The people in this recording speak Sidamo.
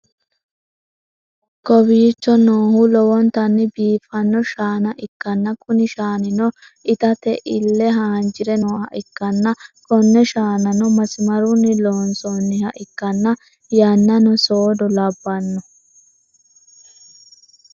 kowiicho noohu lowontanni biifanno shaana ikkanna, kuni shaanino itate ille hanjire nooha ikkanna, konne shaanano masimarunni loonsoonniha ikkanna, yannano soodo labbanno.